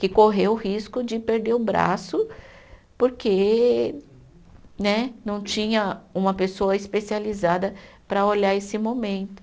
Que correu o risco de perder o braço, porque né não tinha uma pessoa especializada para olhar esse momento.